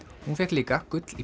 hún fékk líka gull í